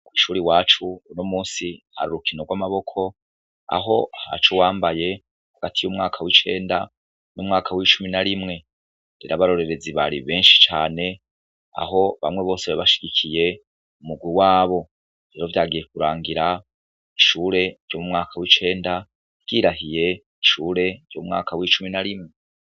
Kw'ishuri iwacu, unomunsi hari urukino rw'amaboko, aho haca uwambaye hagati y'umwaka w'icenda n'umwaka w'icumi na rimwe; rero abarorerezi bari benshi cane, aho bamwe bose bari bashigikiye umurwi wabo; rero vyagiye kurangira, ishure ryo mu mwaka w'icenda ryirahiye ishure ryo mu mwaka w'icumi na rimwe.